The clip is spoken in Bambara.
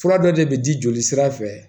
Fura dɔ de bɛ di jolisira fɛ